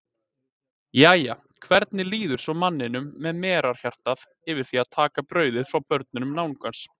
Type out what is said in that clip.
Jæja, hvernig líður svo manninum með merarhjartað yfir því að taka brauðið frá börnum náungans?